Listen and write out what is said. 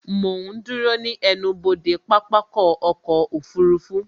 Mo ń dúró ní ẹnubodè pápákọ̀ ọkọ̀ òfurufú